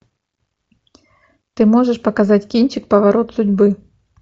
ты можешь показать кинчик поворот судьбы